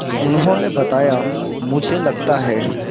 उन्होंने बताया मुझे लगता है